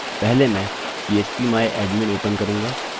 पहले मैं php my admin open करूँगा